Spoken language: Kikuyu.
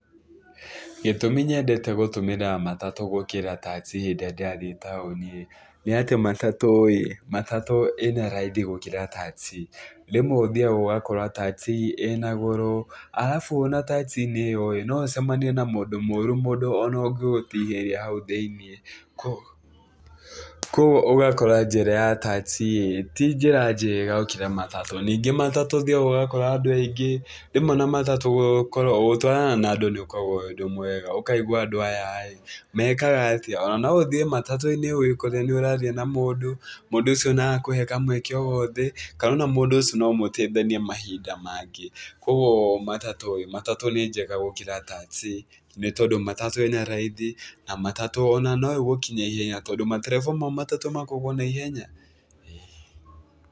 Gĩtũmi nyendete gũtũmĩra matatũ gĩkĩra taxi hĩndĩ ĩrĩa ndĩrathiĩ taũni-ĩ, nĩ atĩ matatũ-ĩ, matatũ ĩna raithi gũkĩra taxi, rĩmwe ũthiaga ũgakora taxi ĩna goro, arabu ona taxi-inĩ ĩyo no ũcemanie na mũndũ mũru ona mũndũ ũngĩgũtihĩria hau thĩiniĩ, kũoguo ũgakora njĩra ya taxi ti njĩra njega gũkĩra matatũ. Ningĩ matatũ ũthiaga ũgakora andũ aingĩ, rĩmwe ona matatũ gũkorwo, ũtwaranaga na andũ nĩgũkoragwo kwĩ ũndũ mwega, ũkaigua andũ aya-rĩ mekaga atĩa. Ona no ũthiĩ matatũ-inĩ wĩkore nĩ ũraria na mũndũ, mũndũ ũcio nĩarakũhe kamweke o gothe kana ona mũndũ ũcio no mũteithanie mahinda mangĩ. Kũoguo matatũ-ĩ, matatũ nĩ njega gũkĩra taxi nĩ tondũ matatũ ĩna raithi na matatũ ono no ĩgũkinya ihenya tondũ matereba ma matatũ makoragwo na ihenya, ĩĩ.